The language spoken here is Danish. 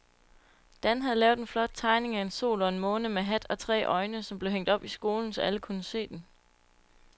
Dan havde lavet en flot tegning af en sol og en måne med hat og tre øjne, som blev hængt op i skolen, så alle kunne se den.